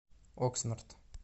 окснард